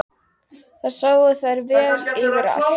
Þar sáu þær vel yfir allt.